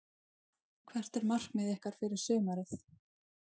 Hvert er markmið ykkar fyrir sumarið?